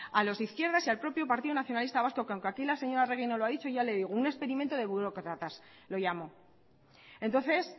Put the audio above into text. a los de izquierdas y al propio partido nacionalista vasco que aunque aquí la señora arregi no lo ha dicho ya le digo un experimento de burócratas lo llamó entonces